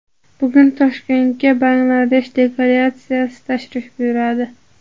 Bugun Toshkentga Bangladesh delegatsiyasi tashrif buyuradi.